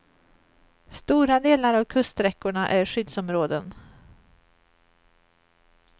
Stora delar av kuststräckorna är skyddsområden.